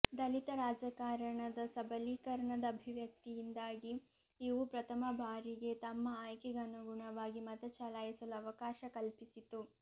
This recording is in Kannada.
ದಲಿತ ರಾಜಕಾರಣದ ಸಬಲೀಕರಣದ ಅಭಿವ್ಯಕ್ತಿಯಿಂದಾಗಿ ಇವು ಪ್ರಥಮ ಬಾರಿಗೆ ತಮ್ಮ ಆಯ್ಕೆಗನುಗುಣವಾಗಿ ಮತ ಚಲಾಯಿಸಲು ಅವಕಾಶ ಕಲ್ಪಿಸಿತು